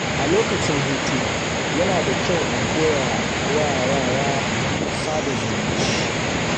A lokacin hutu, yana da kyau a koyawa yara sada zumunci.